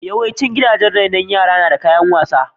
Yawaicin gidajen rainon yara na da kayan wasa.